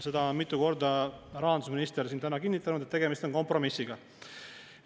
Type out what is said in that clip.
Seda on mitu korda rahandusminister siin täna kinnitanud, et tegemist on kompromissiga.